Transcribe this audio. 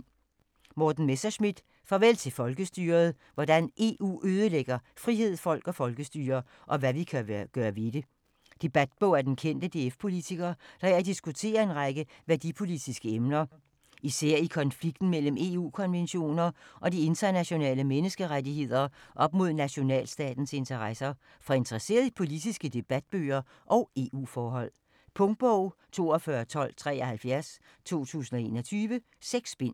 Messerschmidt, Morten: Farvel til folkestyret: hvordan EU ødelægger frihed, folk og folkestyre - og hvad vi kan gøre ved det Debatbog af den kendte DF-politiker, der her diskuterer en række værdipolitiske emner. Især i konflikten mellem EU-konventioner og de internationale menneskerettigheder op mod nationalstatens interesser. For interesserede i politiske debatbøger og EU-forhold. Punktbog 421273 2021. 6 bind.